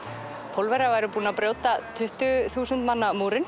Pólverjar væru búnir að brjóta tuttugu þúsund manna múrinn